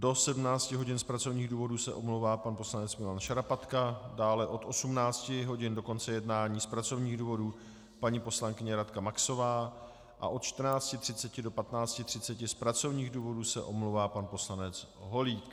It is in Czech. Do 17 hodin z pracovních důvodů se omlouvá pan poslanec Milan Šarapatka, dále od 18 hodin do konce jednání z pracovních důvodů paní poslankyně Radka Maxová a od 14.30 do 15.30 z pracovních důvodů se omlouvá pan poslanec Holík.